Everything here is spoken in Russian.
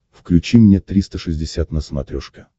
включи мне триста шестьдесят на смотрешке